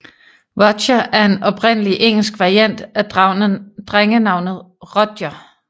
Roger er en oprindelig engelsk variant af drengenavnet Rodger